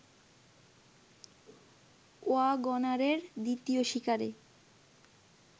ওয়াগনারের দ্বিতীয় শিকারে